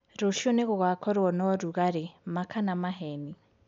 rũcĩũ ningugakorwo na ũrũgarĩ ma kana maheni